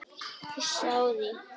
Hissa á því?